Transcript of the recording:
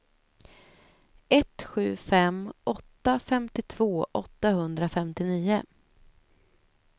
ett sju fem åtta femtiotvå åttahundrafemtionio